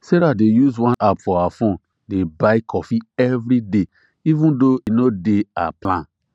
sarah dey use one app for her phone dey buy coffee every day even though e no dey her plan